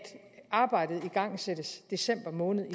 arbejdet blev igangsat i december måned